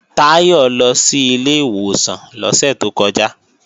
Táyọ̀ lọ sí ilé ìwòsàn lọ́sẹ̀ tó kọjá